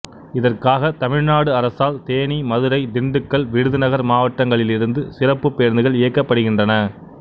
இதற்காக தமிழ்நாடு அரசால் தேனி மதுரை திண்டுக்கல் விருதுநகர் மாவட்டங்களிலிருந்து சிறப்புப் பேருந்துகள் இயக்கப்படுகின்றன